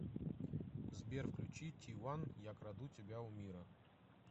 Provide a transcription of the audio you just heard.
сбер включи тиван я украду тебя у мира